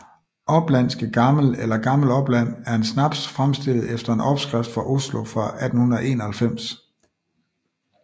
Oplandske Gammel eller Gammel Opland er en snaps fremstillet efter en opskrift fra Oslo fra 1891